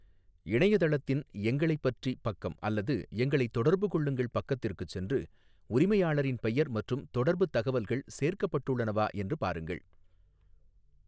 இணையதளத்தின் 'எங்களைப் பற்றி' பக்கம் அல்லது 'எங்களைத் தொடர்புகொள்ளுங்கள்' பக்கத்திற்குச் சென்று உரிமையாளரின் பெயர் மற்றும் தொடர்புத் தகவல்கள் சேர்க்கப்பட்டுள்ளனவா என்று பாருங்கள்.